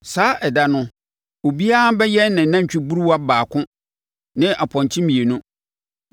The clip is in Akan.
Saa ɛda no, obiara bɛyɛn nantwiburuwa baako ne mpɔnkye mmienu.